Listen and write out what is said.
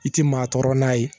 I tɛ maa tɔɔrɔ n'a ye